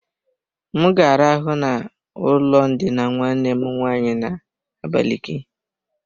M ga arahụ na ụlọ ndina nwanne m nwaanyị na-abaliki.